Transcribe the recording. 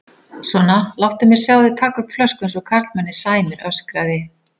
Svona, láttu mig sjá þig taka upp flösku eins og karlmanni sæmir öskraði